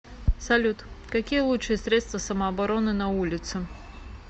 салют какие лучшие средства самообороны на улице